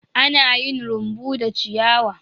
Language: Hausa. Ana yin rumbu da ciyawa.